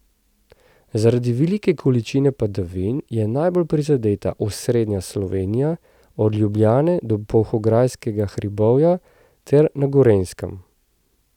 Zaradi velike količine padavin je najbolj prizadeta osrednja Slovenija, od Ljubljane do Polhograjskega hribovja ter na Gorenjskem.